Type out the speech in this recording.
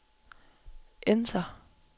enter